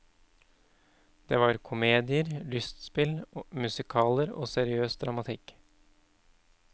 Det var komedier, lystspill, musikaler, og seriøs dramatikk.